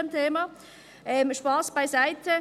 Spass beiseite.